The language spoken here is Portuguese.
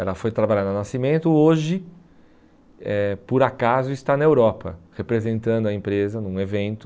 Ela foi trabalhar na Nascimento, hoje, eh por acaso, está na Europa, representando a empresa num evento.